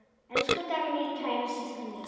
Elsku Dagný, kæra systir mín.